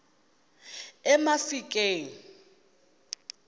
emafikeng